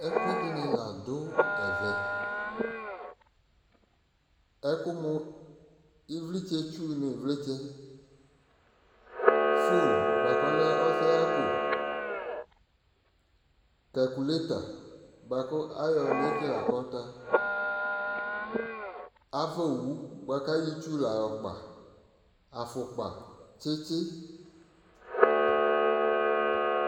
Ɛkʊɛdɩnɩ ladʊ ɛvɛ ɩvlɩtsɛ nʊ ɩvlɩtsɛ ɔsɛɣako kakuleta bʊakʊ ayɔ nekele akɔta ava owʊ buakʊ ayɔ ɩtsʊ la yɔkpa afʊkpa tsitsi